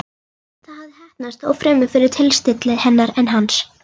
Það hafði heppnast, þó fremur fyrir tilstilli hennar en hans.